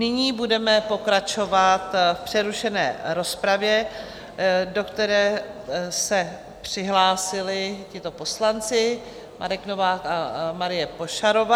Nyní budeme pokračovat v přerušené rozpravě, do které se přihlásili tito poslanci: Marek Novák a Marie Pošarová.